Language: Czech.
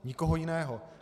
Nikoho jiného.